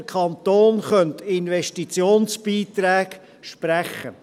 Der Kanton könnte Investitionsbeiträge sprechen.